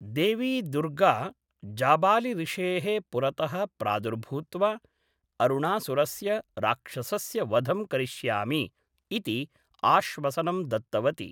देवी दुर्गा जाबालिऋषेः पुरतः प्रादुर्भूत्वा, अरुणासुरस्य राक्षसस्य वधं करिष्यामि इति आश्वसनं दत्तवती।